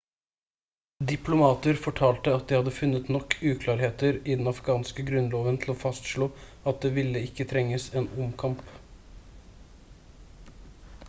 diplomater fortalte at de hadde funnet nok uklarheter i den afghanske grunnloven til å fastslå at det ville ikke trenges en omkamp